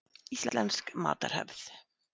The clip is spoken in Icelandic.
Íslensk matarhefð.